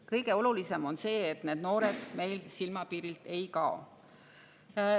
Kõige olulisem on see, et need noored silmapiirilt ei kaoks.